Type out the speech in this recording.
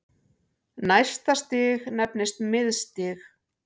Næsta stig nefnist miðstig.